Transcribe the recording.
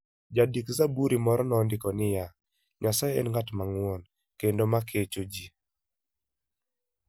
Jandik - zaburi moro nondiko niya: "Nyasaye en ng'at mang'won kendo ma kecho ji.